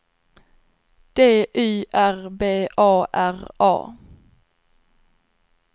D Y R B A R A